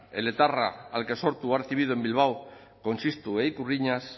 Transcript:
el etarra al que sortu ha recibido en bilbao con txistu e ikurriñas